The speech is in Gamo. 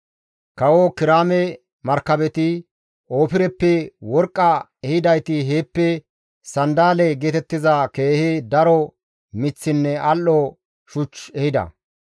(Kawo Kiraame markabeti, Ofireppe worqqaa ehidayti heeppe sanddale geetettiza keehi daro miththinne al7o shuch ehida.